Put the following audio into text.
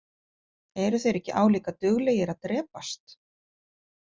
Eru þeir ekki álíka duglegir að drepast?